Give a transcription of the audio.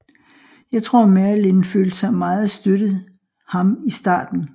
Jeg tror marilyn følte sig meget støttet ham i starten